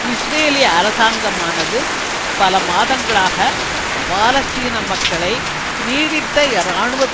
இஸ்ரேலிய அரசாங்கமானது பல மாதங்களாக பாலஸ்தீன மக்களை நீடித்த இராணுவ